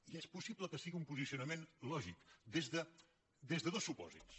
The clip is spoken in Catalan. i és possible que sigui un posicionament lògic des de dos supòsits